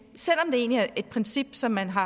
er et princip som man har